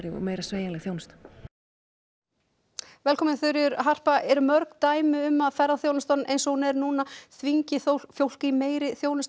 og meira sveigjanleg þjónusta eru mörg dæmi um það að ferðaþjónustan eins og hún er núna þvingi fólk í meiri þjónustu